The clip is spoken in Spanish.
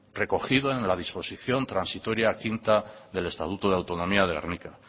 recogido en la disposición transitoria quinta del estatuto de autonomía de gernika